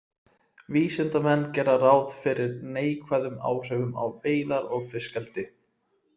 Vísindamenn gera ráð fyrir neikvæðum áhrifum á veiðar og fiskeldi.